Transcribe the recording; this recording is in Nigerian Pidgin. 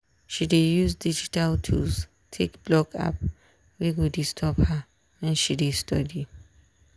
she dey use digital tools take block app wey go disturb her wen she dey study.